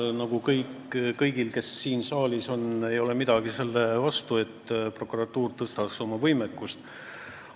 Mul nagu kõigil, kes siin saalis on, ei ole midagi selle vastu, kui prokuratuur oma võimekust tõstaks.